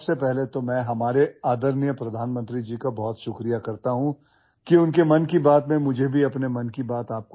First of all, I would like to thank our respected Prime Minister for getting me a little chance to share my thoughts with you in his 'Mann Ki Baat'